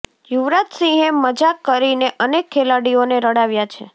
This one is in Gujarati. યુવરાજ સિંહે મજાક કરીને અનેક ખેલાડીઓને રડાવ્યા છે